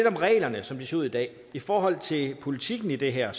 om reglerne som de ser ud i dag i forhold til politikken i det her